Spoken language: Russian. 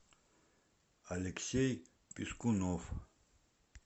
алексей пискунов